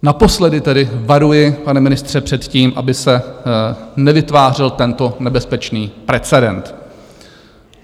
Naposledy tedy varuji, pane ministře, před tím, aby se nevytvářel tento nebezpečný precedens.